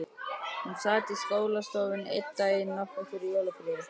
Hún sat í skólastofunni einn daginn, nokkru fyrir jólafríið.